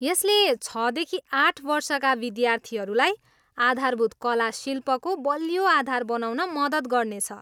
यसले छदेखि आठ वर्षका विद्यार्थीहरूलाई आधारभूत कला शिल्पको बलियो आधार बनाउन मद्दत गर्नेछ।